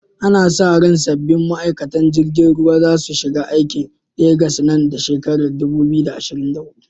Ana sa ran sabbin ma’aikatan jirgin ruwa za su shiga aikin a Legas nan da shekarar 2024.